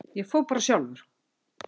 Ég fór bara sjálfur.